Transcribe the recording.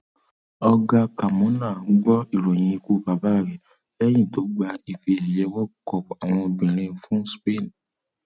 olga carmona gbọ ìròyìn ikú bàbá rẹ lẹyìn tó gba ife ẹyẹ world cup àwọn obìnrin fún spain